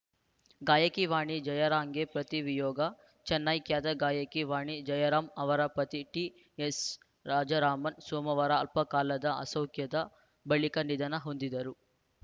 ಗಾಯಕಿ ವಾಣಿ ಜಯರಾಂಗೆ ಪತಿ ವಿಯೋಗ ಚೆನ್ನೈ ಖ್ಯಾತ ಗಾಯಕಿ ವಾಣಿ ಜಯರಾಂ ಅವರ ಪತಿ ಟಿಎಸ್‌ ರಾಜರಾಮನ್‌ ಸೋಮವಾರ ಅಲ್ಪಕಾಲದ ಅಸೌಖ್ಯದ ಬಳಿಕ ನಿಧನ ಹೊಂದಿದರು